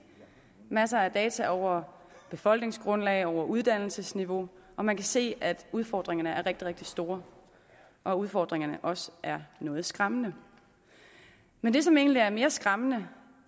masser af data over befolkningsgrundlag over uddannelsesniveau og man kan se at udfordringerne er rigtig rigtig store og at udfordringerne også er noget skræmmende men det som egentlig er mere skræmmende